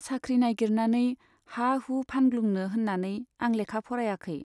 साख्रि नाइगिरनानै हा हु फानग्लुंनो होन्नानै आं लेखा फरायाखै।